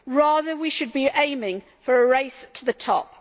instead we should be aiming for a race to the top.